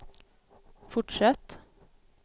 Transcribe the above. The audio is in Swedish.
fortsätt